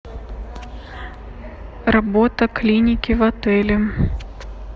работа клиники в отеле